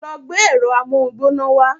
Lọ gbé ẹ̀rọ amóhungbóná wa.